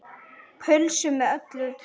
Pulsu með öllu.